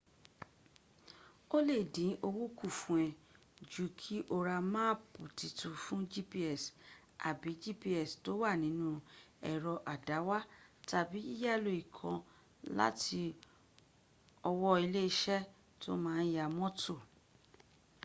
o le din owo kun fun e ju ki o ra maapi titun fun gps abi gps to wa ninu ero adawa tabi yiyalo iikan lati owo ile ise to ma n ya moto